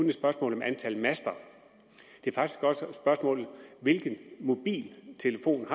et spørgsmål om antal master det er faktisk også et spørgsmål om hvilken mobiltelefon